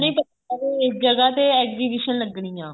ਪਤਾ ਇਹ ਜਗ੍ਹਾ ਤੇ exhibition ਲੱਗਣੀ ਆ